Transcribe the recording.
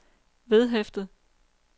vedhæftet